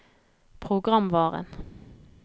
programvaren